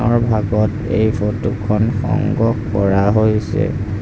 দিনৰ ভাগত এই ফটোখন সংগ্ৰহ কৰা হৈছে।